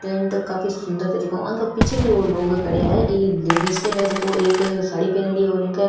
tent काफी सुन्दर तरीके आंगे पीछे भी लोग खड़ा है एक लेडिस है जेको एक साड़ी पहनीडी है और इंक --